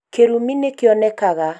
kĩrumi nĩkĩonekaga